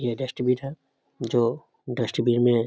ये डस्टबिन है जो डस्टबिन में --